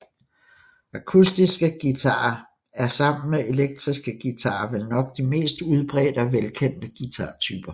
Akustiske guitarer er sammen med elektriske guitarer vel nok de mest udbredte og velkendte guitartyper